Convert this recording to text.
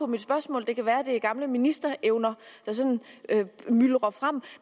mit spørgsmål det kan være at det er gamle ministerevner der sådan myldrer frem